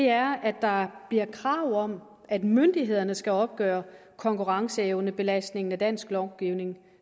er at der bliver krav om at myndighederne skal opgøre konkurrenceevnebelastningen af dansk lovgivning